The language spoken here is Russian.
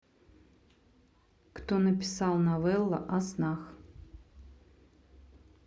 кто написал новелла о снах